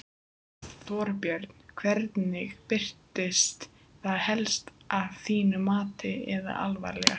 Þorbjörn: Hvernig birtist það helst að þínu mati eða alvarlegast?